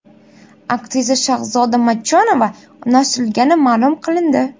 Aktrisa Shahzoda Matchonova unashtirilgani ma’lum qilindi.